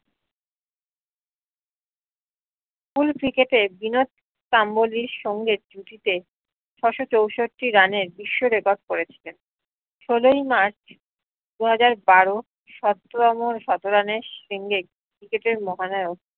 fullcricket এ বিনোদ কাম্বলির সঙ্গে জুথীটে ছয়শো চৌষট্টি run এর বিশ্ব record করেছিলেন ষোলই মার্চ দুই হাজার বারো cricket এর মহানায়ক